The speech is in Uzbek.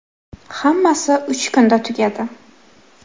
Hammasi uch kunda tugadi.